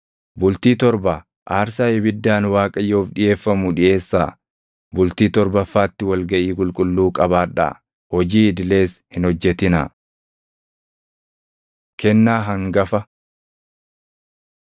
Bultii torba aarsaa ibiddaan Waaqayyoof dhiʼeeffamu dhiʼeessaa. Bultii torbaffaatti wal gaʼii qulqulluu qabaadhaa; hojii idilees hin hojjetinaa.’ ” Kennaa Hangafa